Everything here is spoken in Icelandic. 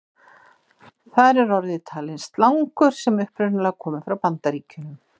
Þar er orðið talið slangur sem upprunalega komi frá Bandaríkjunum.